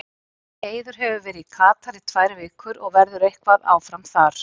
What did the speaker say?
Eiður hefur verið í Katar í tvær vikur og verður eitthvað áfram þar.